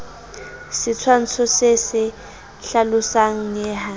setshwantsho se se hlalosang neha